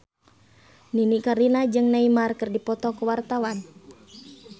Nini Carlina jeung Neymar keur dipoto ku wartawan